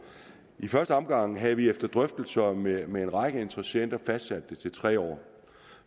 i første omgang havde vi efter drøftelser med med en række interessenter fastsat det til tre år